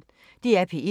DR P1